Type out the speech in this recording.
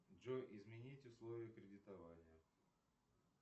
джой изменить условия кредитования